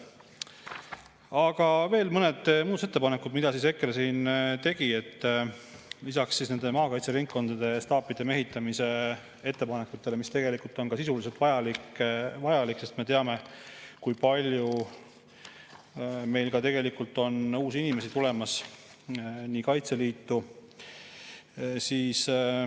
Aga veel mõned muudatusettepanekud, mida EKRE tegi lisaks maakaitseringkondade staapide mehitamise ettepanekutele, mis tegelikult on sisuliselt vajalikud, sest me teame, kui palju meil on uusi inimesi tulemas Kaitseliitu.